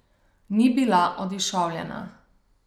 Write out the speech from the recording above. Ni bila odišavljena.